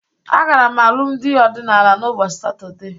Agara m alụmdị ọdịnaala n'ụbọchị Satọde